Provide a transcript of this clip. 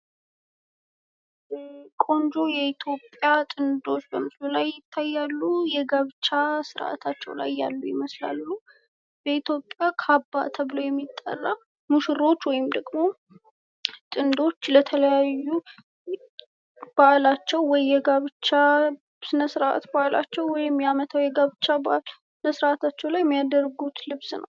ማህበረሰብ የጋራ ችግሮችን ለመፍታት አባላቱን ያስተባብራል፤ ቤተሰብ ደግሞ በችግር ጊዜ የድጋፍ ምንጭ ይሆናል።